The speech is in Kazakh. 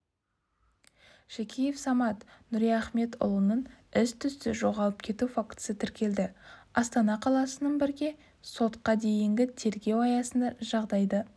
шакеев самат нұриахметұлының із-түссіз жоғалып кету фактісі тіркелді астана қаласының бірге сотқа дейінгі тергеу аясында жағдайды